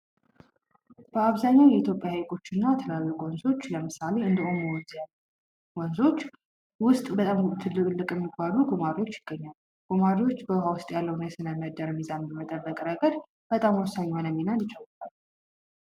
በአብዛኛው የኢትዮጵያ ሀይቆችና ትላልቅ ወንዞች ለምሳሌ እንደ ኦሞ ወንዝ ያሉ ወንዞች ዉስጥ እንስሳቶች እንደ ጉማሬ ያሉ ትላልቅ እንስሳቶች ይገኛሉ። ጉማሬዎች ስነ ምህዳሩን በመጠበቅ ረገድ በጣም ወሳኝ የሆነ ሚና ይጫወታል።